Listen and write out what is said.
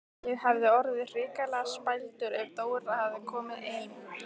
Ég hefði orðið hrikalega spældur ef Dóra hefði komið ein!